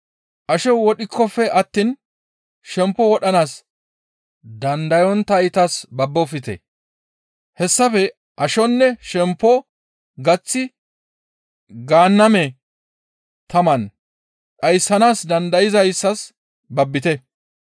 Asho wodhikkofe attiin shempo wodhanaas dandayonttaytas babbofte; hessafe ashonne shempo gaththi Gaanname taman dhayssanaas dandayzayssas babbite.